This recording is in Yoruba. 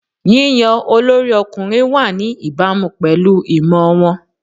Yíyan olórí ọkùnrin wà ní ìbámu pẹ̀lú ìmọ̀ wọn.